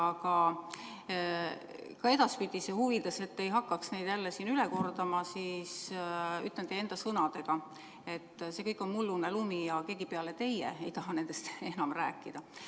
Aga ka edaspidise huvides, et te ei hakkaks neid jälle siin üle kordama, ütlen teie enda sõnadega, et see kõik on mullune lumi ja keegi peale teie ei taha nendest enam rääkida.